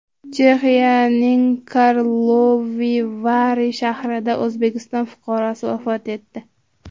Chexiyaning Karlovy Vary shahrida O‘zbekiston fuqarosi vafot etdi.